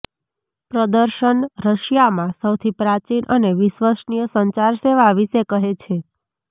પ્રદર્શન રશિયામાં સૌથી પ્રાચીન અને વિશ્વસનીય સંચાર સેવા વિશે કહે છે